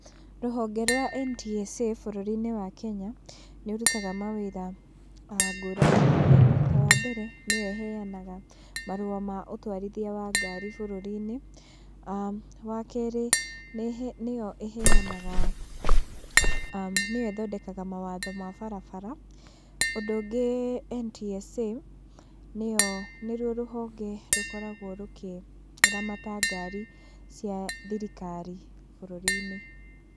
Rũhonge rwa NTSA bũrũri-inĩ wa Kenya, nĩ ũrutaga mawĩra ngũrani ngũrani, ta wa mbere nĩyo ĩheanaga marũa ma ũtwarithia wa ngari bũrũri-inĩ. Wakeri, nĩyo ĩheanaga, nĩyo ĩthondekaga mawatho ma barabara. Ũndũ ũngĩ NTSA nĩyo, nĩruo rũhonge rũkoragwo rũkĩramata ngari cia thirikari bũrũri-inĩ.